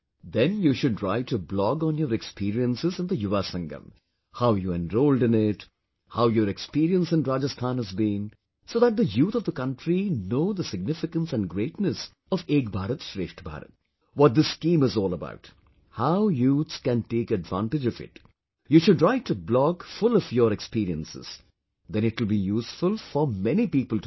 Then you should write a blogon your experiences in the Yuva Sangam, how you enrolled in it, how your experience in Rajasthan has been, so that the youth of the country know the signigficance and greatness of Ek Bharat Shreshtha Bharat, what this schemeis all about... how youths can take advantage of it, you should write a blog full of your experiences... then it will be useful for many people to read